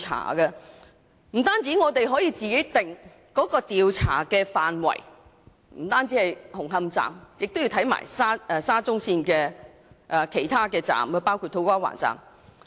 這樣不單可以自行釐定調查範圍，不止是研究沙中線紅磡站，也要一併研究其他車站，包括土瓜灣站。